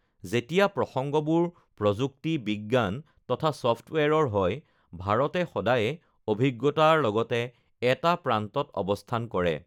যেতিয়া প্ৰসংগবোৰ প্ৰযুক্তি, বিজ্ঞান তথা ছফ্টৱেৰৰ হয়, ভাৰতে সদায়ে অভি়জ্ঞতাৰ লগতে এটা প্ৰান্তত অৱস্থান কৰে